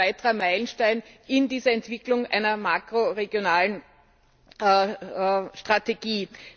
Das ist ein weiterer Meilenstein in dieser Entwicklung einer makroregionalen Strategie.